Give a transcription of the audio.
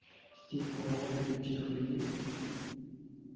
здесь полно приличных людей